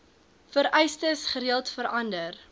vereistes gereeld verander